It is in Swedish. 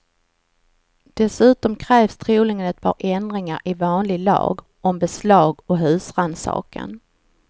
Dessutom krävs troligen ett par ändringar i vanlig lag, om beslag och husrannsakan.